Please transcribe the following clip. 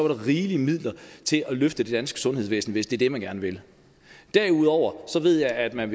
der rigelige midler til at løfte det danske sundhedsvæsen hvis det er det man gerne vil derudover ved jeg at man